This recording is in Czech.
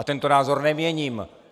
A tento názor neměním!